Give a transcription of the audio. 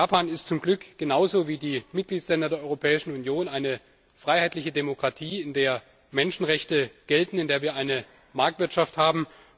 Japan ist zum Glück genauso wie die Mitgliedstaaten der Europäischen Union eine freiheitliche Demokratie, in der Menschenrechte gelten, in der wir eine Marktwirtschaft haben.